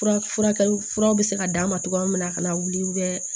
Fura furakɛli furaw bɛ se ka d'a ma cogoya min na a kana wuli